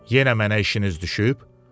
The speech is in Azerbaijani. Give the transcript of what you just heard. Yenə mənə işiniz düşüb?